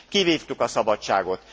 Kivívtuk a szabadságot.